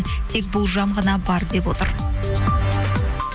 тек болжам ғана бар деп отыр